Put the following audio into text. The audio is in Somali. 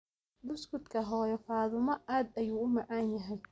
Buskutka hoyo fatuma aad ayuu uu macanyahay